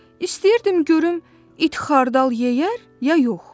İstəyirdim görüm it xardal yeyər ya yox.